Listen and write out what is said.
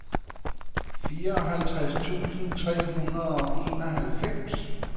fireoghalvtreds tusind tre hundrede og enoghalvfems